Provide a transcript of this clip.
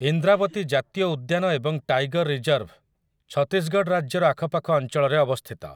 ଇନ୍ଦ୍ରାବତୀ ଜାତୀୟ ଉଦ୍ୟାନ ଏବଂ ଟାଇଗର୍ ରିଜର୍ଭ ଛତିଶଗଡ଼ ରାଜ୍ୟର ଆଖପାଖ ଅଞ୍ଚଳରେ ଅବସ୍ଥିତ ।